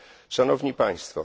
Szanowni Państwo!